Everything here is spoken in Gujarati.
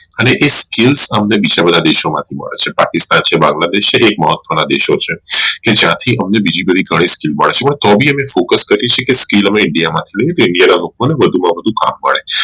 અને એ scale સામે બીજા બધા દેશો માંથી મળે છે પાકિસ્તાન છે બાંગ્લાદેશ છે આ મહત્વના દેશ છે કે જ્યાથી અમે બીજી બધી તો બી અમે focus કરી શકીયે skill હવે india માં પણ વધુ માં વધુ કામ મળે